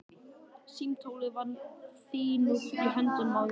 Símtólið var níðþungt í höndunum á mér.